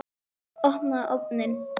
Opnaðu ofninn!